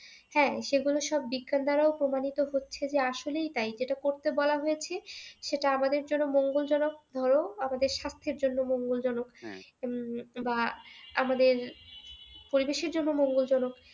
হ্যাঁ সেগুলো সব বিজ্ঞানদ্বারাও প্রমানীত হচ্ছে যে আসলেও তাই যেটা করতে বলা হয়েছে সেটা আমাদের জন্য মঙ্গলজনক ধরো আমাদের স্বাস্থ্যের জন্যও মঙ্গলজনক। বা আমাদের পরিবেশের জন্যও মঙ্গলজনক হ্যাঁ